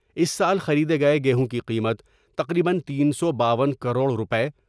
اس سال خریدے گئے گیہوں کی قیمت تقریبا تین سو باون کروڑ روپے ۔